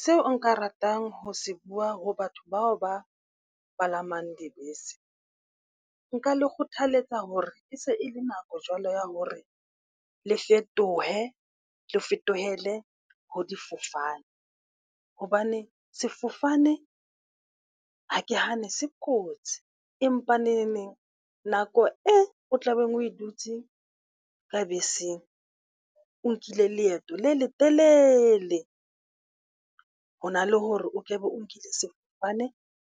Seo nka ratang ho se bua ho batho bao ba palamang dibese. Nka le kgothaletsa hore e se e le nako jwalo ya hore le fetohe le fetohile ho difofane. Hobane sefofane Ha ke hane se kotsi empa neneng nako e o tlabeng o e dutse ka beseng, o nkile leeto le letelele Ho na le hore o kebe o nkile sefofane